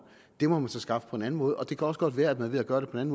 det må man så skaffe på en anden måde og det kan også godt være at man ved at gøre det på en